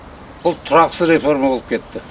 бұл тұрақсыз реформа болып кетті